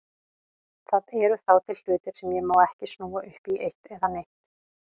Það eru þá til hlutir sem ég má ekki snúa upp í eitt eða neitt.